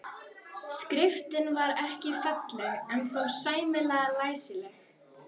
Skriftin var ekki falleg en þó sæmilega læsileg.